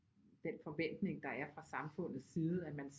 Den forventning der er fra samfundets side at man